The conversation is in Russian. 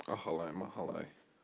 ахалай махалай